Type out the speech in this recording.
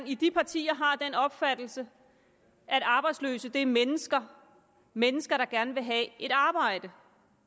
i de partier har den opfattelse at arbejdsløse er mennesker mennesker der gerne vil have et arbejde